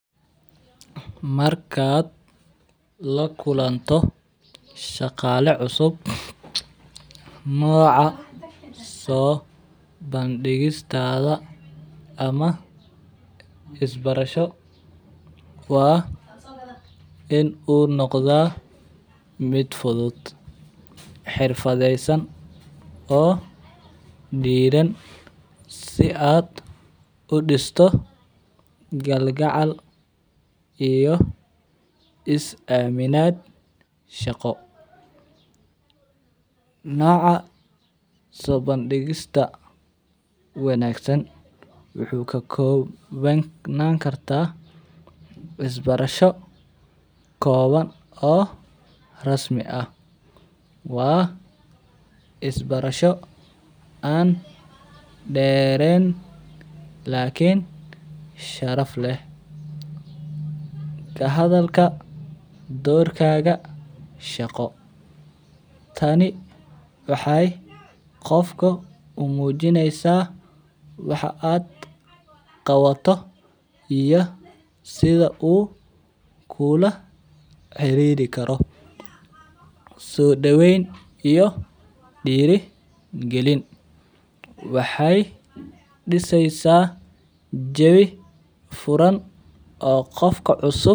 Markaad la kulanto shaqale cusub nocas oo bandigistas ama isbarasho waa in u noqdaa mid fudud xirfadesan oo diran si aad udisto gal gacal iyo isaminaad shaqo, noca sobandigista wanagsan wuxuu ka kobanani kara isbarasho kowan oo rasmi ah, waa isbarasho an deren lakin sharaf leh, kahadhalka dorkadha shaqo tani waxee kofa umujineysa waxa aad qawo iyo sitha u kula ciriri karo, sodaqen iyo dira galin waxee diseysa jawi furan oo qofka cusub.